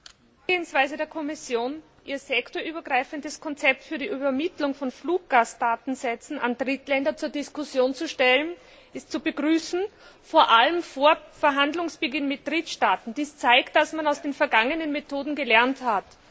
Frau Präsidentin! Die Vorgehensweise der Kommission, ihr sektorübergreifendes Konzept für die Übermittlung von Fluggastdatensätzen an Drittländer zur Diskussion zu stellen, ist zu begrüßen, vor allem vor Verhandlungsbeginn mit Drittstaaten. Dies zeigt, dass man aus den vergangenen Methoden gelernt hat.